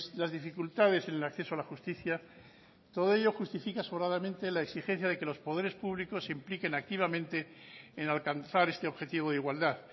las dificultades en el acceso a la justicia todo ello justifica sobradamente la exigencia de que los poderes públicos se impliquen activamente en alcanzar este objetivo de igualdad